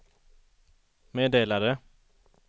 meddelade